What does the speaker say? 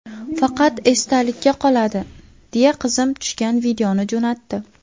Faqat esdalikka qoladi, deya qizim tushgan videoni jo‘natdi.